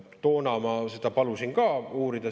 Toona ma palusin ka seda uurida.